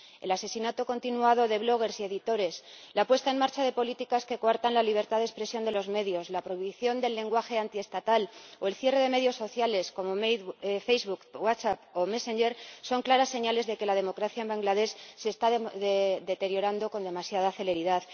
El asesinato continuado de blogueros y editores, la puesta en marcha de políticas que coartan la libertad de expresión de los medios, la prohibición del lenguaje antiestatal o el cierre de medios sociales ―como Facebook, WhatsApp o Messenger― son claras señales de que la democracia en Bangladés se está deteriorando con demasiada celeridad.